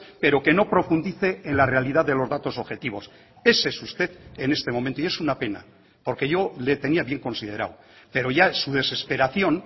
pero que no profundice en la realidad de los datos objetivos ese es usted en este momento y es una pena porque yo le tenía bien considerado pero ya su desesperación